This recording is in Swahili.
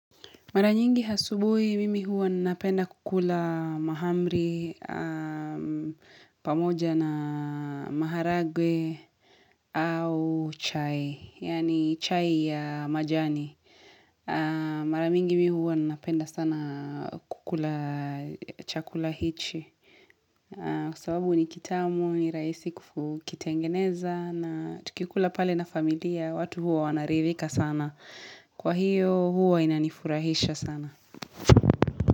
Mara nyingi asubuhi mimi huwa ninapenda kukula mahamri pamoja na maharagwe au chai. Yaani chai ya majani. Mara mingi mimi huwa ninapenda sana kukula chakula hichi. Kwa sababu ni kitamu, ni raisi kutengeneza na tukikula pale na familia. Watu huwa wanaridhika sana. Kwa hiyo huwa inanifurahisha sana.